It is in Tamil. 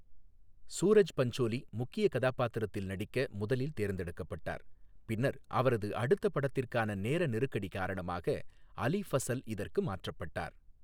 சூரஜ் பஞ்சோலி முக்கிய கதாபாத்திரத்தில் நடிக்க முதலில் தேர்ந்தெடுக்கப்பட்டார், பின்னர் அவரது அடுத்த படத்திற்கான நேர நெருக்கடி காரணமாக, அலி ஃபஸல் இதற்கு மாற்றப்பட்டார்.